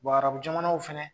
Bɔn arabu jamanaw fana